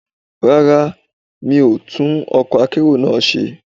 Rárá, mi ò tún ọkọ̀ akérò náà ṣe.